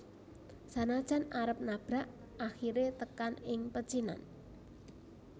Sanajan arep nabrak akhire tekan ing pecinan